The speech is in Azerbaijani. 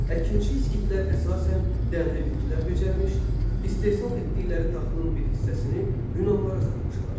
Əkinçi İskitlər əsasən dənli bitkilər becərmiş, istehsal etdikləri taxılın bir hissəsini Yunanlılara satmışlar.